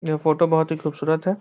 यह फोटो बहुत ही खूबसूरत है।